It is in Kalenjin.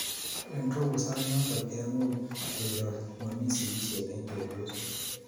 Eng robo sainoto kemuch kero mami sikisiet eng chepyosok